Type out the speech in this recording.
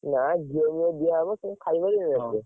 ନା, ଘିଅ ଫିଅ ଦିଅ ହବ, ସେ କଣ ଖାଇ ପାରିବେ ଏତେ?